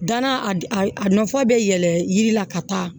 Danna a a nafa bɛ yɛlɛn yiri la ka taa